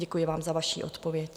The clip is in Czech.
Děkuji vám za vaši odpověď.